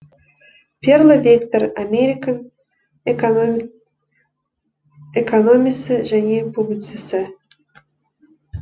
перло виктор американ экономисі және публицисі